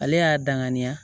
Ale y'a danganiya